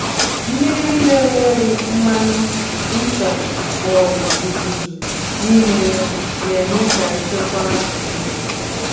Mmiri na-enweghị mmanụ, ncha, ma ọ bụ uzuzu n'ime ya, na-eme ka nchekwa azụ dị.